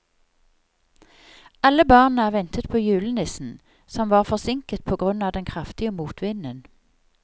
Alle barna ventet på julenissen, som var forsinket på grunn av den kraftige motvinden.